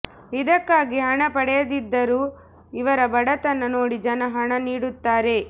ಇದಕ್ಕಾಗಿ ಹಣ ಪಡೆಯದಿದ್ದರೂ ಇವರ ಬಡತನ ನೋಡಿ ಜನ ಹಣ ನೀಡುತ್ತಾರೆ